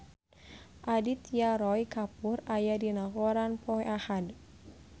Aditya Roy Kapoor aya dina koran poe Ahad